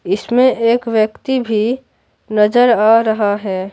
इसमें एक व्यक्ति भी नजर आ रहा है।